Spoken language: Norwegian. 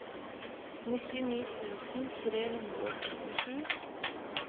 nittini tusen tre hundre og syttisju